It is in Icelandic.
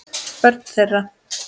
Börn þeirra.